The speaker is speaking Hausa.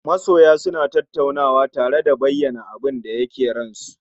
Masoya suna tattaunawa tare da bayan abinda ke ran su